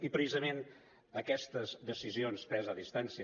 i precisament aquestes decisions preses a distància